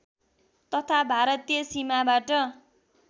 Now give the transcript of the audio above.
तथा भारतीय सिमाबाट